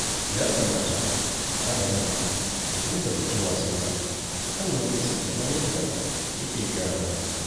Ya kamata Aramma ya dinga fitowa sallah a kan lokaci kamar yadda yake gaya mana